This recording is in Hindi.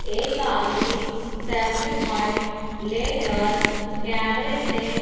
एक आदमी सेल्फी प्वाइंट लेकर कैमरे से--